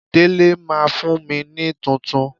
Délé máa fún mi ní tuntun.